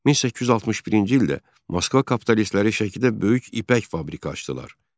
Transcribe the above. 1861-ci ildə Moskva kapitalistləri Şəkidə böyük ipək fabriki açdılar.